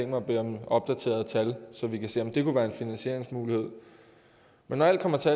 mig at bede om opdaterede tal så vi kan se om det kunne være en finansieringsmulighed men når alt kommer til